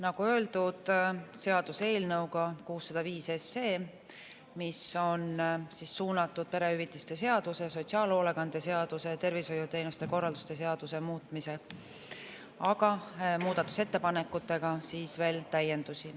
Nagu öeldud, seaduseelnõu 605 on suunatud perehüvitiste seaduse, sotsiaalhoolekande seaduse ja tervishoiuteenuste korraldamise seaduse muutmisele, aga muudatusettepanekutega on veel täiendusi.